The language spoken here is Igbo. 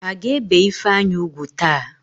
A ga-ébè Ifeanyị úgwù taa?